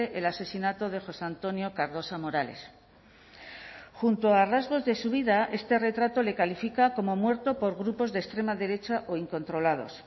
el asesinato de josé antonio cardosa morales junto a rasgos de su vida este retrato le califica como muerto por grupos de extrema derecha o incontrolados